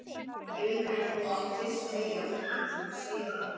Ég vildi nú fyrst segja þér þetta.